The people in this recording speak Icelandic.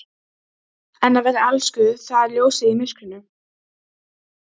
En að vera elskuð það er ljósið í myrkrinu!